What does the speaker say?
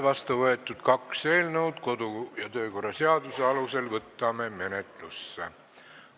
Vastu on võetud kaks eelnõu, kodu- ja töökorra seaduse alusel võtame nad menetlusse.